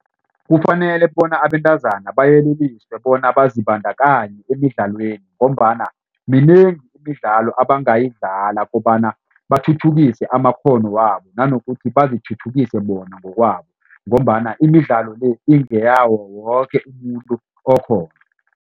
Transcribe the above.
Kufanele bona abentazana bayeleliswe bona bazibandakanye emidlalweni ngombana minengi imidlalo abangayidlala kobana bathuthukise amakghono wabo nanokuthi bazithuthukise bona ngokwabo ngombana imidlalo le ingeyawo woke umuntu okhona.